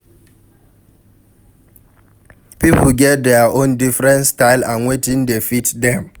Pipo get their own different style and wetin dey fit them